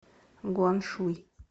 гуаншуй